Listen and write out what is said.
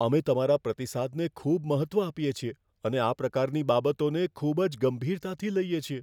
અમે તમારા પ્રતિસાદને ખૂબ મહત્ત્વ આપીએ છીએ અને આ પ્રકારની બાબતોને ખૂબ જ ગંભીરતાથી લઈએ છીએ.